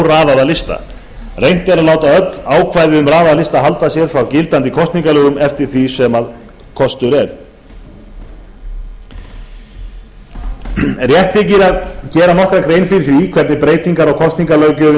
óraðaða lista reynt er að láta öll ákvæði um raðaða lista halda sér frá gildandi kosningalögum eftir því sem kostur er rétt þykir að gera nokkra grein fyrir því hvernig breytingar á kosningalöggjöfinni